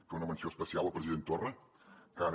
fer una menció especial al president torra que ara